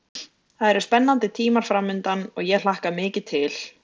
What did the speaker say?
Það eru spennandi tímar framundan og ég hlakka mikið til.